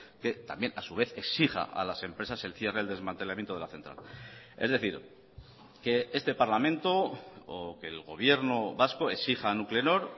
que también a su vez exija a las empresas el cierre el desmantelamiento de la central es decir que este parlamento o que el gobierno vasco exija a nuclenor